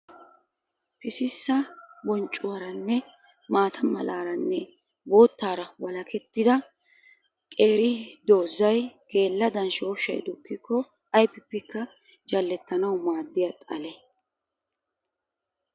Pississa bonccuwaranne maata malaaranne bootaara waalakettida qeeri dozay geeladan shooshay dukkikko aybippekka jalettanawu maadiya xale.